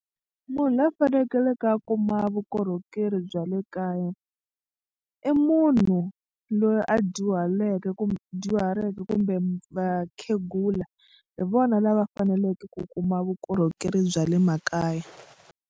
Munhu loyi a fanekeleke a kuma vukorhokeri bya le kaya i munhu loyi a dyuhaleke kumbe dyuhaleke kumbe vakhegula hi vona lava faneleke ku kuma vukorhokeri bya le makaya.